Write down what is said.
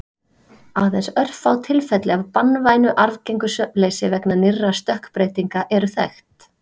Aðeins örfá tilfelli af banvænu arfgengu svefnleysi vegna nýrra stökkbreytinga eru þekkt.